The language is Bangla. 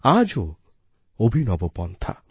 আজও অভিনব পন্থা